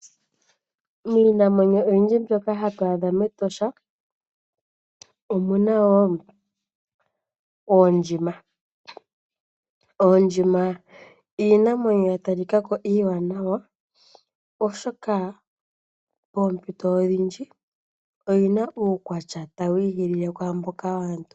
Miinamwenyo oyindji mbyoka hatu adha mEtosha omuna wo Oondjima. Oondjima iinamwenyo ya talika ko iiwanawa oshoka moompito odhindji oyina uukwatya tawi ihilile kwaamboka waantu.